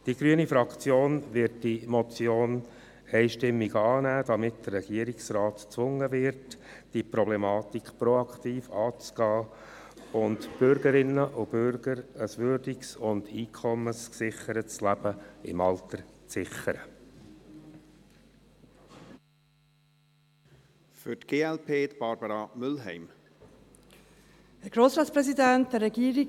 Die grüne Fraktion wird diese Motion einstimmig annehmen, damit der Regierungsrat gezwungen wird, diese Problematik proaktiv anzugehen und den Bürgerinnen und Bürgern ein würdiges und Einkommen gesichertes Leben im Alter zu gewährleisten.